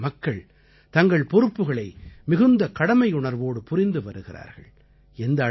பல இடங்களில் மக்கள் தங்கள் பொறுப்புக்களை மிகுந்த கடமையுணர்வோடு புரிந்து வருகிறார்கள்